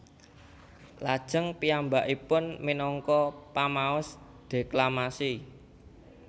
Lajeng piyambakipun minangka pamaos deklamasi